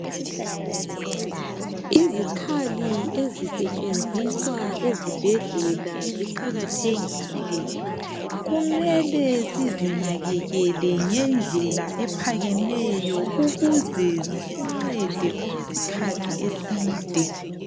Izikhali ezisetshenziswa ezibhedlela ziqakathekile, kumele sizinakekele ngendlela ephakemeyo ukuze zisincede okwesikhathi eside